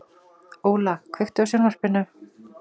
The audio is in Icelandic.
Óla, kveiktu á sjónvarpinu.